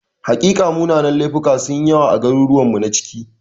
Hakika, munanan laifuka sun yi yawa a garuruwanmu na ciki.